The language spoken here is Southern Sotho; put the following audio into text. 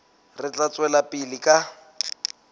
re tla tswela pele ka